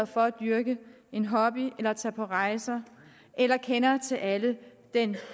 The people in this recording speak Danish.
for at dyrke en hobby eller tage på rejser eller kender til alle fortræffelighederne i den